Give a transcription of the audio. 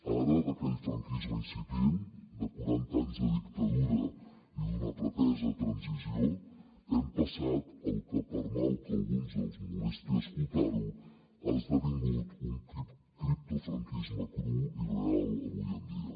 ara d’aquell franquisme incipient de quaranta anys de dictadura i d’una pretesa transició hem passat al que per mal que a alguns els molesti escoltar ho ha esdevingut un criptofranquisme cru i real avui en dia